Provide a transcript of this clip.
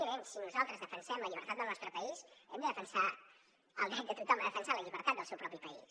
evidentment si nosaltres defensem la llibertat del nostre país hem de defensar el dret de tothom a defensar la llibertat del seu propi país